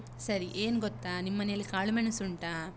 ಸರಿ ಏನ್ ಗೊತ್ತಾ, ನಿಮ್ಮನೇಲಿ ಕಾಳುಮೆಣಸು ಉಂಟಾ?